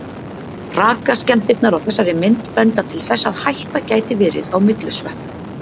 Rakaskemmdirnar á þessari mynd benda til þess að hætta gæti verið á myglusveppum.